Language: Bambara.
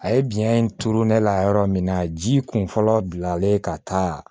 A ye biyɛn in turu ne la yɔrɔ min na ji kun fɔlɔ bilalen ka taa